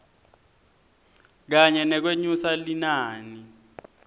kanye nekwenyusa linani